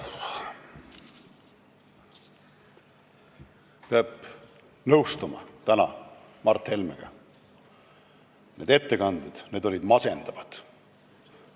Peab täna nõustuma Mart Helmega – need ettekanded olid masendavad.